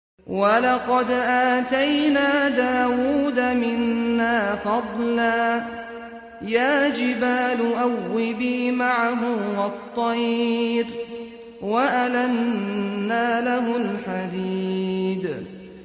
۞ وَلَقَدْ آتَيْنَا دَاوُودَ مِنَّا فَضْلًا ۖ يَا جِبَالُ أَوِّبِي مَعَهُ وَالطَّيْرَ ۖ وَأَلَنَّا لَهُ الْحَدِيدَ